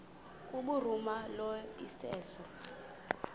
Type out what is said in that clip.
kubhuruma lo iseso